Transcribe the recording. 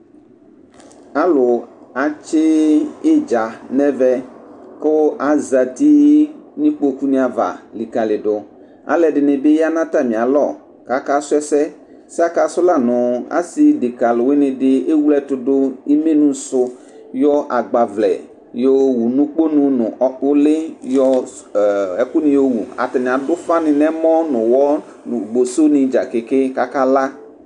Alʊ atsɩdza nɛvɛ kʊ azti ni nikpoku niava likalidʊ Alɛdinibi ya natamialɔ kaka suɛsɛ ɛssɛ akasuɛ lanu ,assi deka luwinidi ewledu imenusʊ ,yɔ agbavlɛ yawʊ n'ukunu nʊ ulɩ yɔ ɔ ɛkuni yɔwu ,atanɩ adufani n'emɔ nʊ nʊ bosso nidza kakala